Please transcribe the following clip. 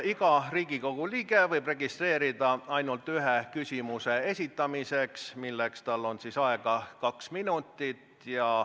Iga Riigikogu liige võib registreeruda ainult ühe küsimuse esitamiseks, milleks tal on aega kaks minutit.